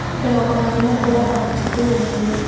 ఇక్కడ ఒక మహిళ కూడా కనిపిస్తూ ఉంది.